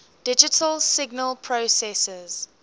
digital signal processors